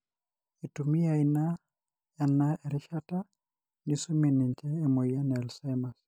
itumia ina ena erishata nisumie ninche emoyian e ALzcheimers.